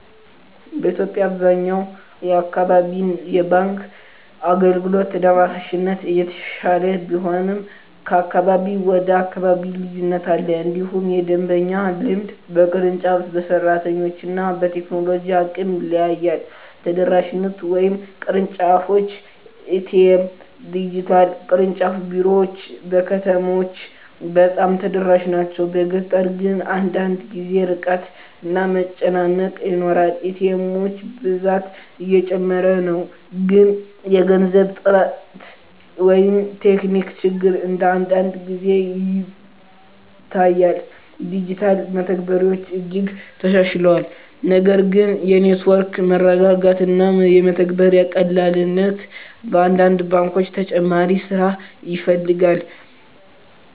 በኢትዮጵያ አብዛኛው አካባቢ የባንክ አገልግሎት ተደራሽነት እየተሻሻለ ቢሆንም ከአካባቢ ወደ አካባቢ ልዩነት አለ። እንዲሁም የደንበኛ ልምድ በቅርንጫፍ፣ በሰራተኞች እና በቴክኖሎጂ አቅም ይለያያል። ተደራሽነት (ቅርንጫፎች፣ ኤ.ቲ.ኤም፣ ዲጂታል) ቅርንጫፍ ቢሮዎች በከተሞች በጣም ተደራሽ ናቸው፤ በገጠር ግን አንዳንድ ጊዜ ርቀት እና መጨናነቅ ይኖራል። ኤ.ቲ. ኤሞች ብዛት እየጨመረ ነው፣ ግን የገንዘብ እጥረት ወይም ቴክኒክ ችግር አንዳንድ ጊዜ ይታያል። ዲጂታል መተግበሪያዎች እጅግ ተሻሽለዋል፣ ነገር ግን የኔትወርክ መረጋጋት እና የመተግበሪያ ቀላልነት በአንዳንድ ባንኮች ተጨማሪ ስራ ይፈልጋል።